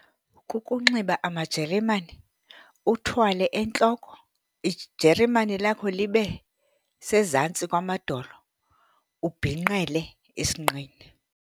Kukunxiba amajeremane, uthwale entloko. Ijeremane lakho libe sezantsi kwamadolo, ubhinqele esinqeni.